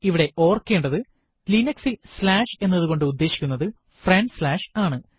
ഇവിടെ ഓർക്കേണ്ടത് linux ൽ സ്ലാഷ് എന്നതുകൊണ്ട് ഉദേശിക്കുന്നത് ഫ്രണ്ട് സ്ലാഷ് ആണ്